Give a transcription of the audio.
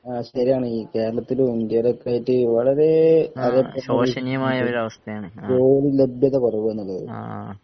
ആ ശരിയാണീ കേരളത്തിലും, ഇന്ത്യയിലുമൊക്കെയായിട്ട് വളരെ അത് ജോലി ജോലിലബ്‌ദതകുറവെന്നുള്ളത്